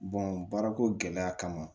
baarako gɛlɛya kama